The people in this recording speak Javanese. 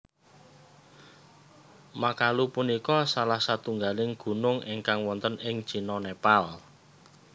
Makalu punika salah satunggaling gunung ingkang wonten ing Cina Nepal